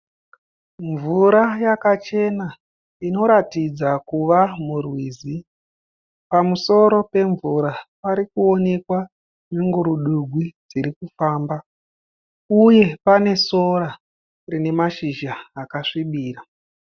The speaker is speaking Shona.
Mvura yakachena inoratidza kuvamurwizi. Pamusoro pemvura parikuonekwa nyungurudugwi dziri kufamba uye pane sora rinemashizha akasvibira.